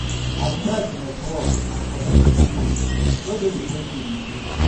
I dey try to network and connect with people wey dey di same field with me.